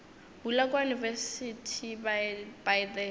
bula kua university by the